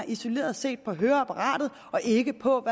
isoleret set på høreapparatet og ikke på